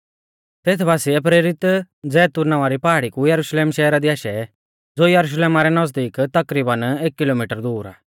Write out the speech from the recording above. तेथ बासीऐ प्रेरित जैतून नावां री पहाड़ी कु यरुशलेम शहरा दी आशै ज़ो यरुशलेमा रै नज़दीक तकरीबन एक किलोमिटर दूर आ